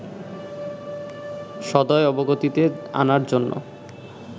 সদয় অবগতিতে আনার জন্য